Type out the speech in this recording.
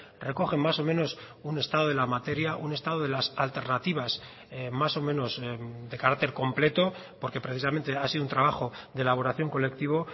recogen más o menos un estado de la materia un estado de las alternativas más o menos de carácter completo porque precisamente ha sido un trabajo de elaboración colectivo